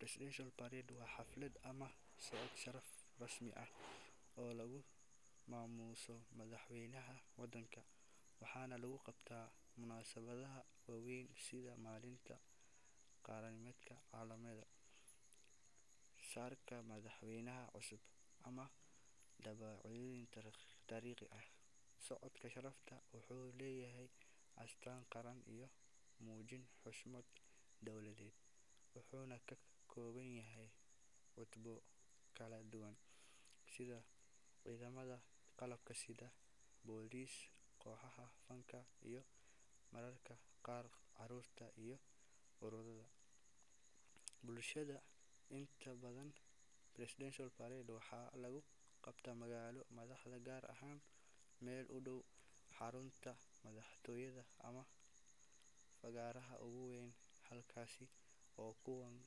Presidential parade waa xaflad ama socod sharafeed rasmi ah oo lagu maamuuso madaxweynaha waddanka, waxaana lagu qabtaa munaasabadaha waaweyn sida maalinta qaranimada, caleema saarka madaxweyne cusub, ama dhacdooyin taariikhi ah. Socodkaan sharafeed wuxuu leeyahay astaan qaran iyo muujin xushmad dowladeed, wuxuuna ka kooban yahay cutubyo kala duwan sida ciidamada qalabka sida, boolis, kooxaha fanka, iyo mararka qaar carruurta iyo ururrada bulshada. Inta badan presidential parade waxaa lagu qabtaa magaalo madaxda, gaar ahaan meel u dhow xarunta madaxtooyada ama fagaaraha ugu weyn, halkaas oo kumanaan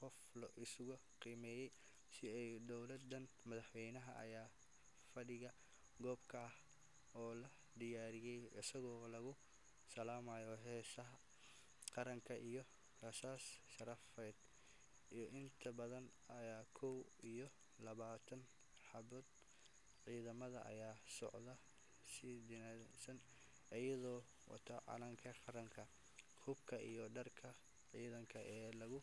qof isugu yimaadaan si ay u daawadaan. Madaxweynaha ayaa fadhiya goob gaar ah oo loo diyaariyay, isagoo lagu salaamayo heesta qaranka iyo rasaas sharafeed oo inta badan ah kow iyo labaatan xabbadood. Ciidamada ayaa socda si nidaamsan, iyagoo wata calanka qaranka, hubka iyo dharka ciidanka ee loogu.